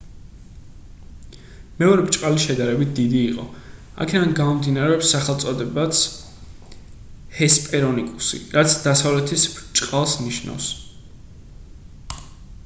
მეორე ბრჭყალი შედარებით დიდი იყო აქედან გამომდინარეობს სახელწოდებაც ჰესპერონიკუსი რაც დასავლეთის ბრჭყალს ნიშნავს